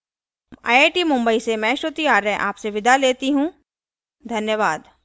यह स्क्रिप्ट लता द्वारा अनुवादित है आई आई टी मुंबई की ओर से मैं श्रुति आर्य अब आप से विदा लेती हूँ